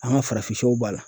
An ka farafin sɛw b'a la